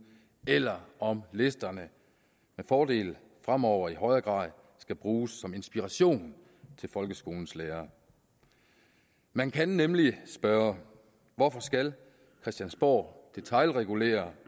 eller om listerne med fordel fremover i højere grad skal bruges som inspiration til folkeskolens lærere man kan nemlig spørge hvorfor skal christiansborg detailregulere